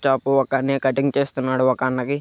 shop ఒక అన్నయ cutting వేస్తున్నాడు ఒక అన్నకి--